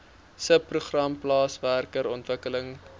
subprogram plaaswerker ontwikkeling